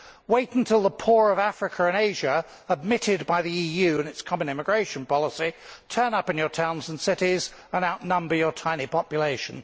Wait until the poor of Africa and Asia, admitted by the EU through its common immigration policy, turn up in your towns and cities and outnumber your tiny population.